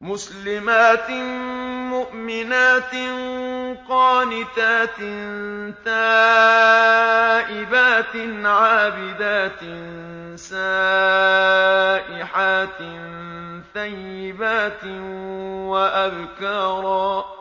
مُسْلِمَاتٍ مُّؤْمِنَاتٍ قَانِتَاتٍ تَائِبَاتٍ عَابِدَاتٍ سَائِحَاتٍ ثَيِّبَاتٍ وَأَبْكَارًا